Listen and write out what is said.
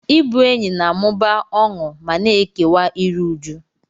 Ịbụ enyi na-amụba ọṅụ ma na-ekewa iru újú.